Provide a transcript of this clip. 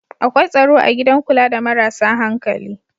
Akwai tsaro a gidan kula da marasa hankali